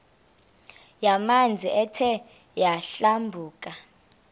yamanzi ethe yadlabhuka